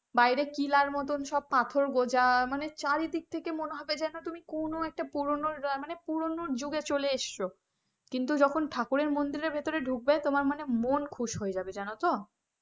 বাইরে কিলার মত সব পাথর গোজা মানে চারিদিক থেকে মনে হবে যেন তুমি কোন একটা পুরনো পুরনো যুগে চলে এসেছে কিন্তু যখন ঠাকুরের মন্দিরে ভেতরে ঢুকবে তোমার মানে মন খুশ হয়ে যাবে।